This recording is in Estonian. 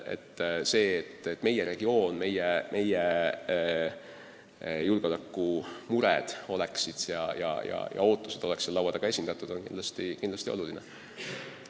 See, et meie regioon, meie julgeolekumured ja ootused oleks seal laua taga esindatud, on kindlasti oluline.